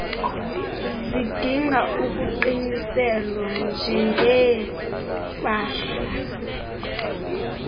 zidinga ukuqiniselwa njengeepahla